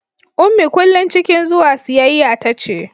ummi kullum cikin zuwa siyayya tace